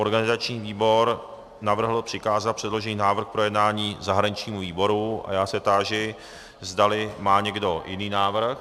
Organizační výbor navrhl přikázat předložený návrh k projednání zahraničnímu výboru a já se táži, zdali má někdo jiný návrh.